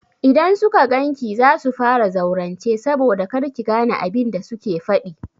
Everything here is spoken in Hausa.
Idan suka gan ki za su fara zaurance saboda kar ki gane abin da suke faɗi.